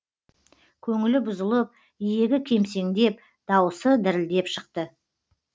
көңілі бұзылып иегі кемсеңдеп дауысы дірілдеп шықты